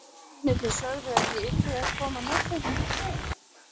Mennirnir sögðu að ég yrði að koma með þeim.